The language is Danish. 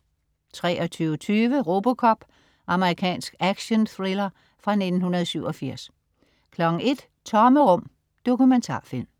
23.20 RoboCop. Amerikansk actionthrillerfra 1987 01.00 Tomme rum. Dokumentarfilm